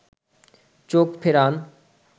চোখ ফেরান